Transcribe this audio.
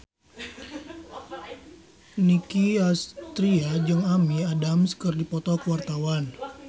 Nicky Astria jeung Amy Adams keur dipoto ku wartawan